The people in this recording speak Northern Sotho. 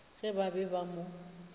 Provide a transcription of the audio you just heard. ge ba be ba mo